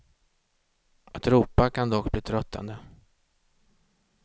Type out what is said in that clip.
Att ropa kan dock bli tröttande.